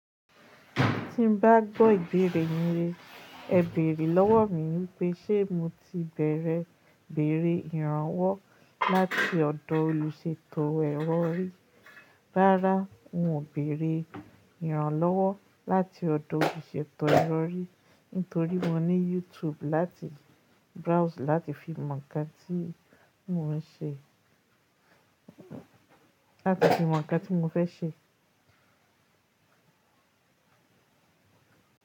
Tí n bá gbọ́ ìbéèrè yín, è bèèrè lọ́wọ́ mi wípé, ṣe mo ti bẹ̀rẹ̀ ìbéèrè ìrànwọ́ láti ọ̀dọ̀ olùṣètò ẹ̀rọ rí. Rárá, n ò béèrè ìrànlọ́wọ́ láti ọ̀dọ̀ olùṣètò ẹ̀rọ rí, nítorí mo ní YouTube láti browse láti fi mọ̀ ń kan tí mo ń ṣe, láti fi mọ̀ ń kan tí mo fẹ́ ṣe.